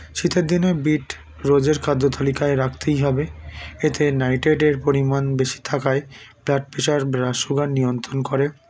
শীতের দিনে বীট রোজের খাদ্যতালিকায় রাখতেই হবে এতে nitrate - এর পরিমাণ বেশি থাকায় blood pressure blood sugar নিয়ন্ত্রণ করে